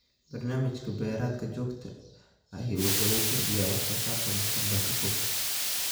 Barnaamij beereedka joogtada ahi waxa uu kordhiyaa wax-soo-saarka mustaqbalka fog.